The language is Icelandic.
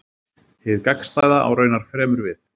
Hið gagnstæða á raunar fremur við.